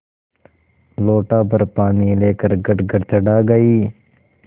लोटाभर पानी लेकर गटगट चढ़ा गई